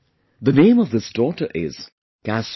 The name of this daughter is Kasmi